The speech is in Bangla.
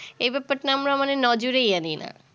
এই ব্যাপারটা আমরা মানে নজরেই আনি না